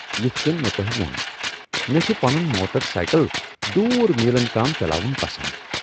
یتھ کٔنۍ مےٚ تۄہہِ ووٚن، مےٚ چُھ پنُن موٹر سائیکل دوٗر میلن تام چلاوُن پسند ۔